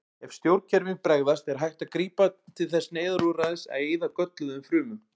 Ef stjórnkerfin bregðast er hægt að grípa til þess neyðarúrræðis að eyða gölluðum frumum.